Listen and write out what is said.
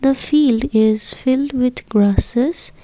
the field is filled with grasses.